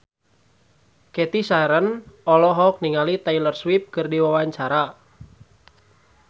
Cathy Sharon olohok ningali Taylor Swift keur diwawancara